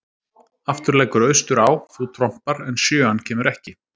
Aftur leggur austur á, þú trompar, en sjöan kemur ekki.